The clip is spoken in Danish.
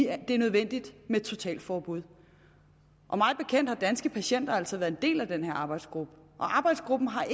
er nødvendigt med et totalforbud mig bekendt har danske patienter altså været en del af den her arbejdsgruppe og arbejdsgruppen har